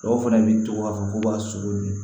Dɔw fana b'i to a kɔ b'a sogo dun